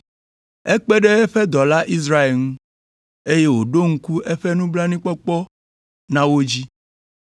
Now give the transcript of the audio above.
Ekpe ɖe eƒe dɔla Israel ŋu, eye wòɖo ŋku eƒe nublanuikpɔkpɔ na wo dzi